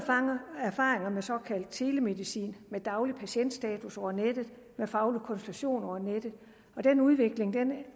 erfaringer med såkaldt telemedicin med daglig patientstatus over nettet med faglig konsultation over nettet og den udvikling